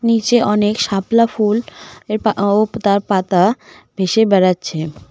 নীচে অনেক শাপলা ফুল এর ও তার পাতা ভেসে বেড়াচ্ছে।